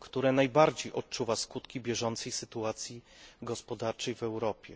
które najbardziej odczuwa skutki bieżącej sytuacji gospodarczej w Europie.